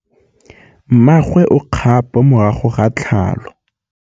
Mmagwe o kgapô morago ga tlhalô.